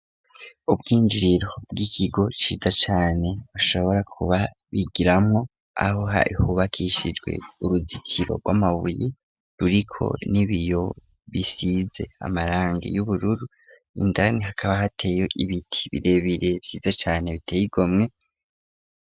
Ubwinjiriro bw'ikigo ciza cane bashobora kuba bigiramwo aho hahubakishijwe uruzikiro rw'amabuyi ruriko n'ibiyo bisize amaranga y'ubururu indani hakaba hateyo ibiti birebire vyiza cane biteyigomwe.